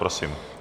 Prosím.